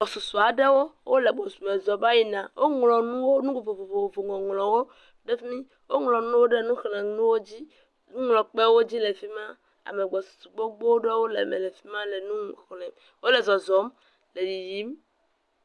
Gbɔsusu aɖewo wole gbɔsusume zɔ va yina. Woŋlɔ nuwo, nu vovovovo ŋɔŋlɔwo ɖe fi mi. Woŋlɔ nu ɖe nuxlẽnuwo dzi, nuxlẽkpewo dzi le fi ma. Ame gbɔsusu gbogbo ɖewo le eme le fi ma le nu xlẽ. Wole zɔzɔm le yiyim.